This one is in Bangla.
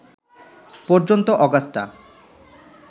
পর্যন্ত অগাস্টা